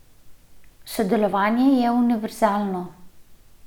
Sodelovanje je univerzalno.